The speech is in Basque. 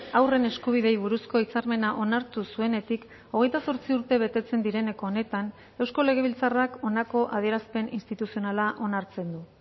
haurren eskubideei buruzko hitzarmena onartu zuenetik hogeita zortzi urte betetzen direneko honetan eusko legebiltzarrak honako adierazpen instituzionala onartzen du